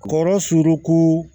Kɔrɔ surun